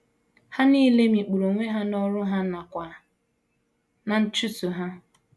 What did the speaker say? Ha nile mikpuru onwe ha n’ọrụ ha nakwa ná nchụso ha.